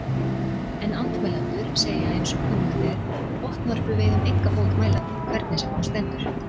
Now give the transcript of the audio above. En andmælendur segja eins og kunnugt er, botnvörpuveiðum enga bót mælandi, hvernig sem á stendur.